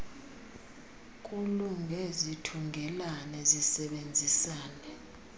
kulunge zithungelane zisebenzisane